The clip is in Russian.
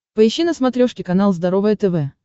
поищи на смотрешке канал здоровое тв